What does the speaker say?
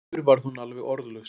Aftur varð hún alveg orðlaus.